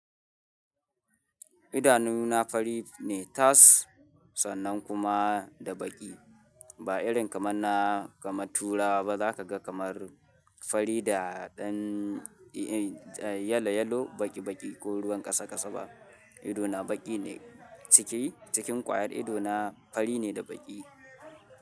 Idanuna fari ne tas, sannan kuma da baki. Ba irin kamar na, kamarna turawa ba zaka ga kamar fari da ɗan yalo yalo, baki baki ko ruwan kasa kasa ba. Ido na baki ne. Ciki, cikin ƙwayar ido na fari ne da baki.